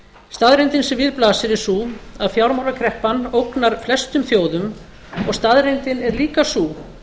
staðreyndin sem við blasir er sú að fjármálakreppan ógnar flestum þjóðum og staðreyndin er líka sú